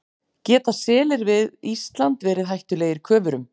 Geta selir við Ísland verið hættulegir köfurum?